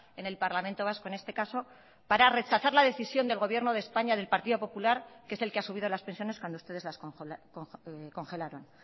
en el parlamento vasco en este caso para rechazar la decisión del gobierno de españa del partido popular que es el que ha subido las pensiones cuando ustedes las congelaron